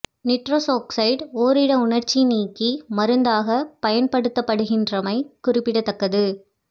nitrous oxide ஓரிட உணர்ச்சி நீக்கி மருந்தாகப் பயன்படுத்தப்படுகின்றமை குறிப்பிடத்தக்கது